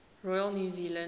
royal new zealand